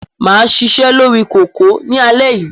Mà á ṣiṣẹ́ lórí kòkò ní alẹ́ yìí.